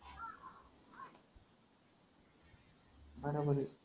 हां ना गडे.